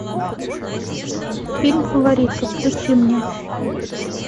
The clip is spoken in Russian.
фильм фаворитка включи мне